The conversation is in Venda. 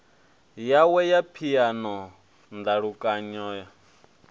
yawe ya phiano ndalukanyo o